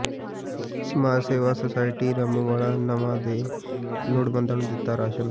ਸਮਾਜ ਸੇਵਾ ਸੁਸਾਇਟੀ ਰਾਮੂੰਵਾਲਾ ਨਵਾਂ ਨੇ ਲੋੜਵੰਦਾਂ ਨੂੰ ਦਿੱਤਾ ਰਾਸ਼ਨ